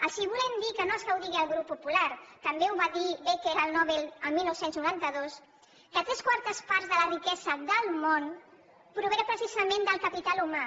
els volem dir que no és que ho digui el grup popular també ho va dir becker el nobel el dinou noranta dos que tres quartes parts de la riquesa del món provenen precisament del capital humà